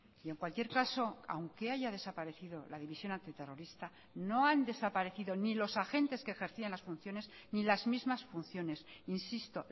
y en cualquier caso aunque haya desaparecido la división antiterrorista no han desaparecido ni los agentes que ejercían las funciones ni las mismas funciones insisto